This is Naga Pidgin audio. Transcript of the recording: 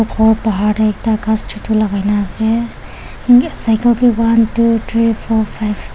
aru bahar te ekta ghas chotu lagaina ase cycle bi one two three four five .